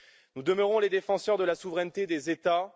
Nous demeurons les défenseurs de la souveraineté des États.